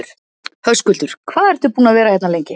Höskuldur: Hvað ertu búinn að vera hérna lengi?